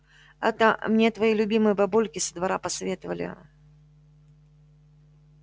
это мне твои любимые бабульки со двора посоветовали